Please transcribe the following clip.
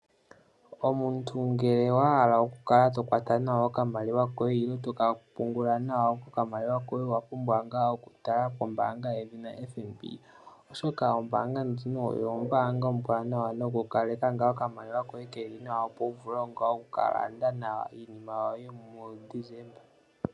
Omuntu ngele owa hala okukala to kwata nawa okamaliwa koye nenge toka pungula nawa okamaliwa koye owa pumbwa okutala pombaanga yedhina FNB oshoka ombaanga ndjino oyo ombaanga ombwanawa nokukaleka ngaa okamaliwa koye keli nawa opo wu vule okukalanda nawa iinima yoye mu Desemba.